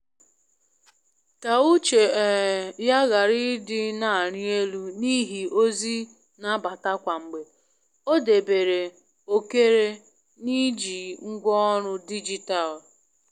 Ka uche um ya ghara ị dị na arị elu n’ihi ozi n'abata kwa mgbe, ọ debere ókère n’iji ngwaọrụ dijitalụ.